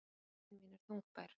Iðrun mín er þungbær.